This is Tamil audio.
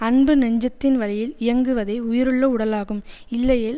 அன்புநெஞ்சத்தின் வழியில் இயங்குவதே உயிருள்ள உடலாகும் இல்லையேல்